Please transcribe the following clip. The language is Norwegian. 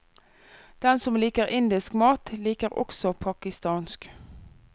Den som liker indisk mat, liker også pakistansk.